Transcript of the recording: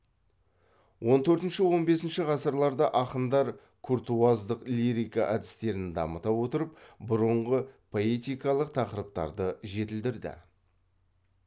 он төртінші он бесінші ғасырларда ақындар куртуаздық лирика әдістерін дамыта отырып бұрынғы поэтикалық тақырыптарды жетілдірді